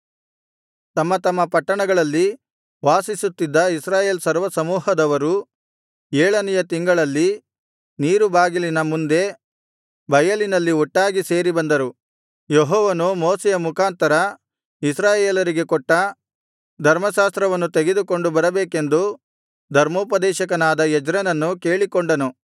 ತಮ್ಮ ತಮ್ಮ ಪಟ್ಟಣಗಳಲ್ಲಿ ವಾಸಿಸುತ್ತಿದ್ದ ಇಸ್ರಾಯೇಲ್ ಸರ್ವಸಮೂಹದವರು ಏಳನೆಯ ತಿಂಗಳಲ್ಲಿ ನೀರುಬಾಗಿಲಿನ ಮುಂದೆ ಬಯಲಿನಲ್ಲಿ ಒಟ್ಟಾಗಿ ಸೇರಿ ಬಂದರು ಯೆಹೋವನು ಮೋಶೆಯ ಮುಖಾಂತರ ಇಸ್ರಾಯೇಲರಿಗೆ ಕೊಟ್ಟ ಧರ್ಮಶಾಸ್ತ್ರವನ್ನು ತೆಗೆದುಕೊಂಡು ಬರಬೇಕೆಂದು ಧರ್ಮೋಪದೇಶಕನಾದ ಎಜ್ರನನ್ನು ಕೇಳಿಕೊಂಡನು